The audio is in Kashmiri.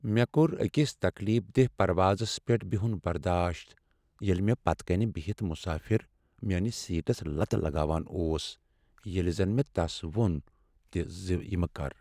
مےٚ کوٚر أکس تکلیف دہ پروازس پیٹھ بہن برداش ییٚلہ مےٚ پتہٕ کنۍ بہتھ مسٲفر میٲنس سیٹس لتہٕ لگاوان اوس ییٚلہ زن مےٚ تس ووٚن تہ ز یہ مہ کر۔